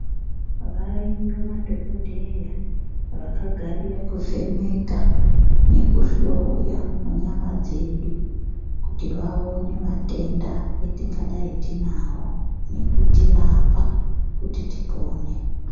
Variyo madhokodheya vakagarira kuvheneka nekuhloya munyama dzedu kuti vaone matenda etingadai tinawo nekutirapa kuti tipone.